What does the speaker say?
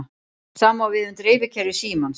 Sama á við um dreifikerfi símans.